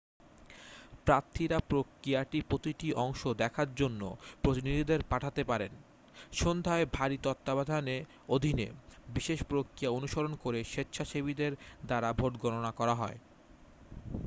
প্রার্থীরা প্রক্রিয়াটির প্রতিটি অংশ দেখার জন্য প্রতিনিধিদের পাঠাতে পারেন সন্ধ্যায় ভারী তত্ত্বাবধানের অধীনে বিশেষ প্রক্রিয়া অনুসরণ করে স্বেচ্ছাসেবীদের দ্বারা ভোট গণনা করা হয়